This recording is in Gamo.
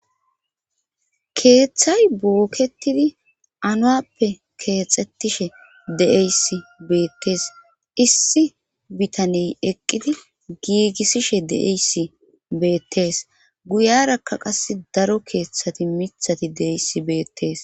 Keeththay booketidi anuappe keexettishe de7eys beettees issi bitaney eqqidi giigissishe de7eyssi beettees guyarakka qas daro keeththati mithati deyssi beettees.